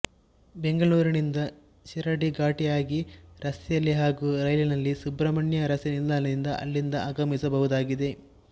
ಬೆಂಗಳೂರಿನಿಂದ ಶಿರಾಡಿ ಘಾಟಿಯಾಗಿ ರಸ್ತೆಯಲ್ಲಿ ಹಾಗೂ ರೈಲಿನಲ್ಲಿ ಸುಬ್ರಹ್ಮಣ್ಯ ರಸ್ತೆ ನಿಲ್ದಾಣದಿಂದ ಇಲ್ಲಿಗೆ ಆಗಮಿಸಬಹುದಾಗಿದೆ